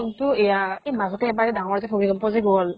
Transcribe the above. কিন্তু এয়া এ মাজতে এবাৰ এ ডাঙৰ যে ভূমিকম্প যে গল